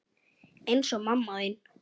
Eins og mamma þín.